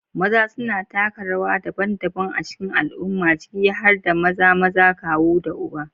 Maza suna taka rawa daban-daban a cikin al'umma, ciki har da maza, maza, kawu, da uba.